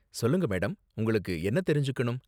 சொல்லுங்க மேடம், உங்களுக்கு என்ன தெரிஞ்சுக்கணும்?